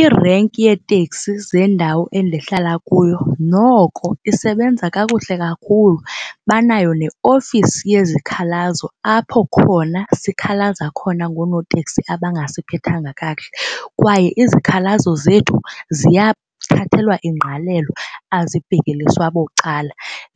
Irenki yeeteksi zendawo endihlala kuyo noko isebenza kakuhle kakhulu banayo neofisi yezikhalazo apho khona sikhalaza khona ngoonoteksi abangasiphathanga kakuhle kwaye izikhalazo zethu ziyathathelwa ingqalelo azibhekeliswa bucala,